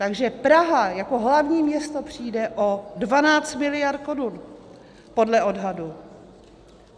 Takže Praha jako hlavní město přijde o 12 miliard korun podle odhadu.